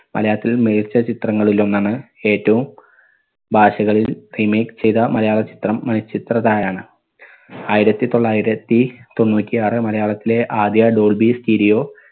മലയാളത്തിൽ മികച്ച ചിത്രങ്ങളിൽ ഒന്നാണ് ഏറ്റവും ഭാഷകളിൽ remake ചെയ്ത മലയാള ചിത്രം മണിച്ചിത്രത്താഴാണ്. ആയിരത്തി തൊള്ളായിരത്തി തൊണ്ണൂറ്റി ആറ്‌ മലയാളത്തിലെ ആദ്യ dolby stereo